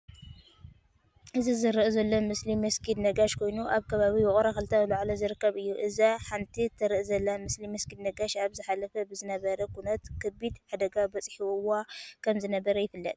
እዚ ዝርአ ዘሎ ምስሊ መስጊድ ነጋሽ ኮይኑ ኣብ ከባቢ ውቅሮ ክልተ ላዕልዎ ዝርከብ እዩ። እዛ ሓንቲ ትርአ ዘላ ምስሊ መስጊድ ነጋሽ ኣብ ዝሓለፈ ብዝነበረ ኩናት ከቢድ ሓደጋ በፃሕዋ ከምዝነበረ ይፍለጥ።